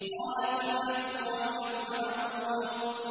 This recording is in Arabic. قَالَ فَالْحَقُّ وَالْحَقَّ أَقُولُ